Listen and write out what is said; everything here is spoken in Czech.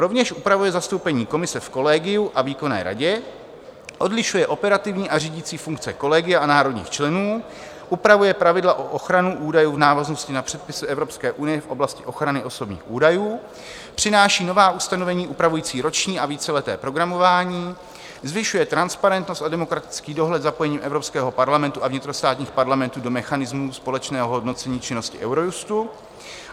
Rovněž upravuje zastoupení Komise v kolegiu a výkonné radě, odlišuje operativní a řídící funkce kolegia a národních členů, upravuje pravidla pro ochranu údajů v návaznosti na předpisy EU v oblasti ochrany osobních údajů, přináší nová ustanovení upravující roční a víceleté programování, zvyšuje transparentnost a demokratický dohled zapojením Evropského parlamentu a vnitrostátních parlamentů do mechanismu společného hodnocení činnosti Eurojustu.